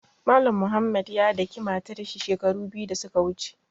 Mallam Mohammed ya daƙi matar shi shekaru biyu da su ka wuche.